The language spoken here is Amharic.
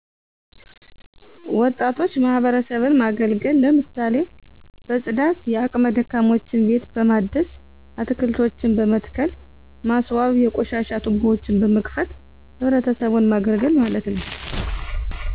ወጣቶች ማህበረሰብን ማገልገል ለምሳሌ በፅዳት የአቅመ ደካሞችን ቤት በማደስ አትልቶችን በመትከል ማስዋብ የቆሻሻ ቱቦዎችን በመክፈት ህብረተሰቡን ማገልገል ማለት ነዉ